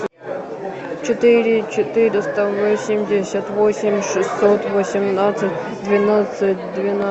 четыре четыреста восемьдесят восемь шестьсот восемнадцать двенадцать